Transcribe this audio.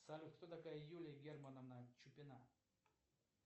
салют кто такая юлия германовна чупина